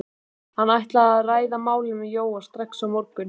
Hann ætlaði að ræða málin við Jóa strax á morgun.